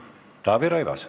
Taavi Rõivas.